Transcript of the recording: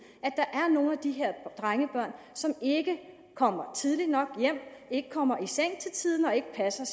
at der er nogle af de her drengebørn som ikke kommer tidligt nok hjem ikke kommer i seng til tiden og ikke passer